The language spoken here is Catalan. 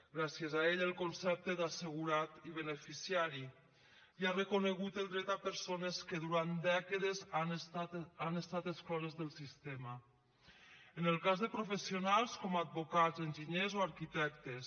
gràcies a ell el concepte d’assegurat i beneficiari i ha reconegut el dret a persones que durant dècades han estat excloses del sistema en el cas de professionals com advocats enginyers o arquitectes